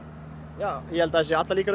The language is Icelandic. já ég held að það séu allar líkur